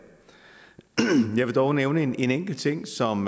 jeg vil dog nævne en enkelt ting som